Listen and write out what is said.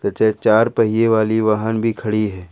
चार पहिए वाली वाहन भी खड़ी है।